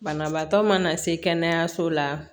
Banabaatɔ mana se kɛnɛyaso la